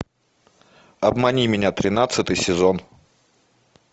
обмани меня тринадцатый сезон